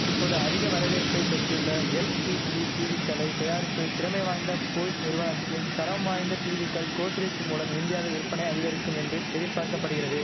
இப்போது அதிக வரவேற்பை பெற்றுள்ள எல்சிடி டீவிக்களை தயாரிப்பில் திறமை வாய்ந்த போய்ஸ் நிறுவனத்திம் தரம்வாய்ந்த டீவிக்கள் கோத்ரேஜ் மூலம் இந்தியாவில் விற்பனை அதிகரிக்கும் என்று எதிர்பார்க்க படுகிறது